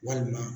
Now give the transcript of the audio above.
Walima